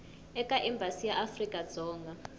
eka embasi ya afrika dzonga